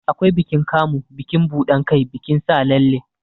Akwai bikin Kamu, bikin buɗan kai, bikin sa lalle.